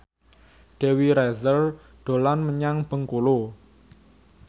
Dewi Rezer dolan menyang Bengkulu